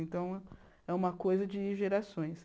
Então, é uma coisa de gerações.